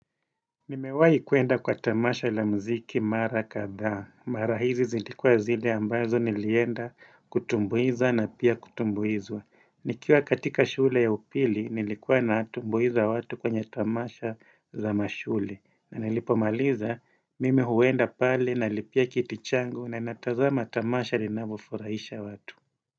Nimewai kwenda kwa tamasha la mziki Mara kadhaa. Mara hizi zilikuwa zile ambazo nilienda kutumbuiza na pia kutumbuizwa. Nikiwa katika shule ya upili nilikuwa na tumbuiza watu kwenye tamasha za mashule. Nanilipomaliza mimi huenda pale nalipia kiti changu na natazama tamasha linanvyofurahisha watu.